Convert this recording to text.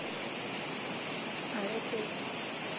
are teipa